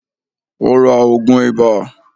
Ó ra ògùn ìbà.